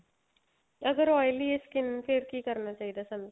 ਤਾਂ ਅਗਰ oily ਏ skin ਫੇਰ ਕੀ ਕਰਨਾ ਚਾਹੀਦਾ ਸਾਨੂੰ